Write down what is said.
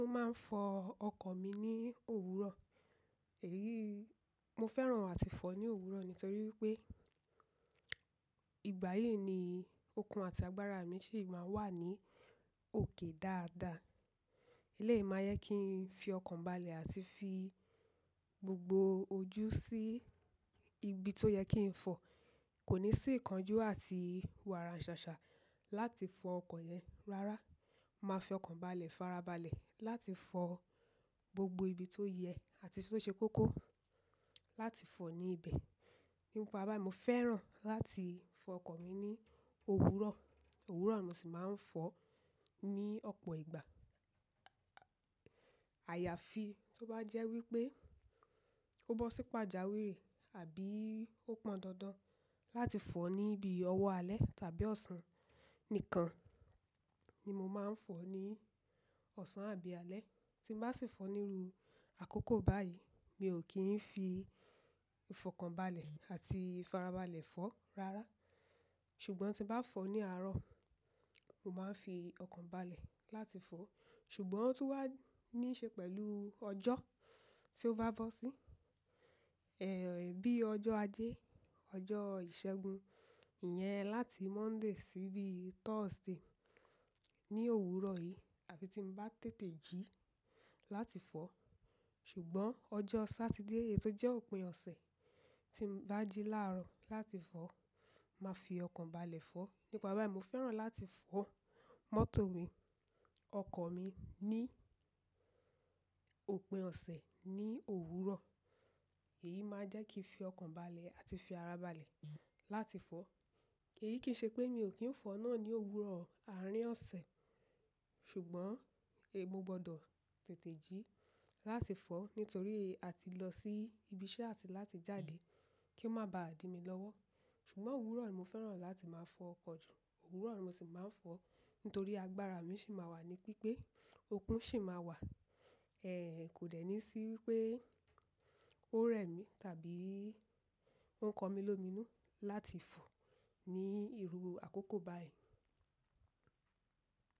Mo máa ń fọ ọkọ̀ mi ní òwúrọ̀. Èyí, mo fẹ́ràn àti fọ ní òwúrọ̀ nítorí pé ìgbáyi ni okun àti agbára mi sì máa ń wà ní òkè dáadáa. Eleyi máa jẹ kí n fi ọkàn balẹ̀ àti fi gbogbo ojú sí ibi tó yẹ kí n fọ. Kò ní sì ìkánjú àti wàrà ṣàṣà láti fọ ọkọ̀ yẹn. Rárá, màá fi ọkàn balẹ̀ farabalẹ̀ láti fọ gbogbo ibi tó yẹ àti tí ó ṣe kókó láti fọ ní ibẹ̀. Nípa bá yi, mo fẹ́ràn láti fọ ọkọ̀ mi ní òwúrọ̀. Òwúrọ̀ ni mo sì máa ń fọ ní ọ̀pọ̀ ìgbà. Àyàfi tó bá jẹ́ wípé ó bọ́ sí pàjáwìrì àbí ó pọn dandan láti fọ ní ibi ọwọ́ alẹ́ tàbí ọ̀sán. Nìkan ni mo máa ń fọ ní ọ̀sán àbí alẹ́. Tín bá sì fọ níru àkókò báyìí, mi ò kì n fi ìfọkànbalẹ̀ àti ìfarabalẹ̀ fọ́. Rárá, ṣùgbọ́n tí bá fọ ní àárọ̀, mo máa ń fi ọkàn balẹ̀ láti fọ. Ṣùgbọ́n ó tún wá ní ṣe pẹ̀lú ọjọ́ tí ó bá bọ́ sí. Ẹ̀, bí ọjọ́ ajé, ọjọ́ ìṣẹ́gun. Iyẹn láti Monday sí bí Thursday ní òwúrọ̀ yìí, àbí tí n bá tètè jí láti fọ. Ṣùgbọ́n ọjọ́ Saturday yìí tó jẹ́ òpin ọ̀sẹ̀ tí n bá jí láàárọ̀ láti fọ, màá fi ọkàn balẹ̀ fọ́. Nípa bá mi, mo fẹ́ràn láti fọ mọ́tò mi, ọkọ̀ mi ní òpin ọ̀sẹ̀ ní òwúrọ̀. Èyí máa jẹ́ kí n fi ọkàn balẹ̀ àti fi ara balẹ̀ láti fọ̀. Èyí kì í ṣe pé mi ò kí ń fọ náà ní òwúrọ̀ àárín ọ̀sẹ̀. Ṣùgbọ́n è mò gbọdọ̀ tètè jí láti fọ nítorí a ti lọ sí ibi iṣẹ́ àti láti jáde kí ó má bá dí mi lọ́wọ́. Ṣùgbọ́n òwúrọ̀ ni mo fẹ́ràn láti máa fọ ọkọ̀ jù. Òwúrọ̀ ni mo sì máa ń fọ nítorí agbára mi sì máa wà ní pípé, okun sì máa wà. Ẹ̀, kò dẹ́ni sí wípé ó rẹ mí tàbí ó ń kọ mí lómìnú láti fọ ní iru àkókò báyìí.